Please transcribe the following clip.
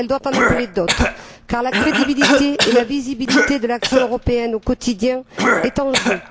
Elle doit en appeler d'autres, car la crédibilité et la visibilité de l'action européenne au quotidien sont en jeu.